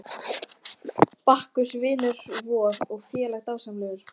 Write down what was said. Bakkus vinur vor og félagi er dásamlegur.